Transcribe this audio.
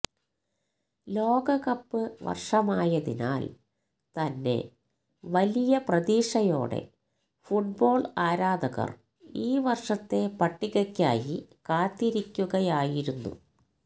ലോകകപ്പ് വർഷമായതിനാൽ തന്നെ വലിയ പ്രതീക്ഷയോടെ ഫുട്ബോൾ ആരാധകർ ഈ വർഷത്തെ പട്ടികയ്ക്കായി കാത്തിരിക്കുകയായിരുന്നു